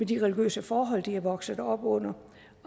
de religiøse forhold de er vokset op under